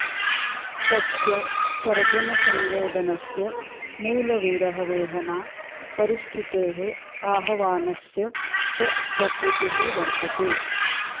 तस्य सर्जनसंवेदनस्य मूल विरहवेहना परिस्थितेः आहवानस्य च प्रकृतिः वर्तते